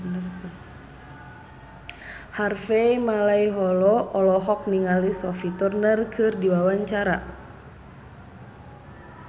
Harvey Malaiholo olohok ningali Sophie Turner keur diwawancara